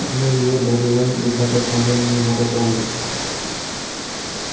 мы её добываем из обыкновенного водопровода